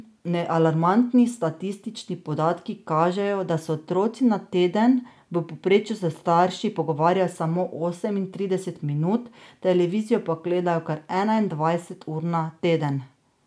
Alarmantni statistični podatki kažejo, da se otroci na teden v povprečju s starši pogovarjajo samo osemintrideset minut, televizijo pa gledajo kar enaindvajset ur na teden.